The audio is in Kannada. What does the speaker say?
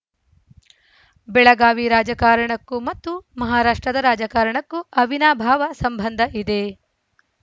ಬೆಳಗಾವಿ ರಾಜಕಾರಣಕ್ಕೂ ಮತ್ತು ಮಹಾರಾಷ್ಟ್ರದ ರಾಜಕಾರಣಕ್ಕೂ ಅವಿನಾಭಾವ ಸಂಬಂಧ ಇದೆ